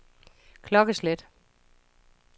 klokkeslæt